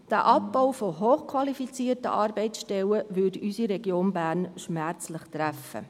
Dieser Abbau von hochqualifizierten Arbeitsstellen würde unsere Region Bern schmerzlich treffen.